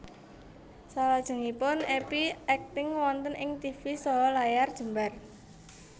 Salajengipun Epy akting wonten ing tivi saha layar jembar